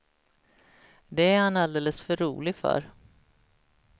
Det är han alldeles för rolig för.